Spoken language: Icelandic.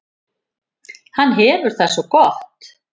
Hann hefur það svo gott.